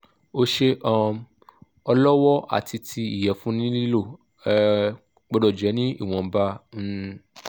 ose um olowo ati ti iyẹ̀fun ni lilo um gbọ́dọ̀ jẹ́ ni iwọ̀nba um